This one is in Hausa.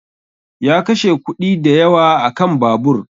Ya kashe kuɗi dayawa a kan babur ɗin